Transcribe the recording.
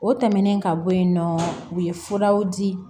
O tɛmɛnen ka bɔ yen nɔ u ye furaw di